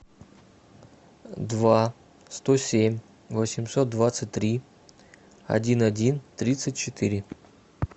два сто семь восемьсот двадцать три один один тридцать четыре